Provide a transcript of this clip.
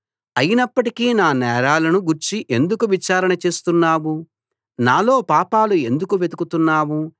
అయినప్పటికీ నా నేరాలను గూర్చి ఎందుకు విచారణ చేస్తున్నావు నాలో పాపాలు ఎందుకు వెతుకుతున్నావు